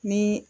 Ni